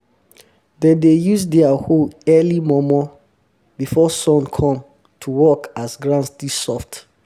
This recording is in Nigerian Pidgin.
dem dey use their hoe early momo before sun come to work as ground still soft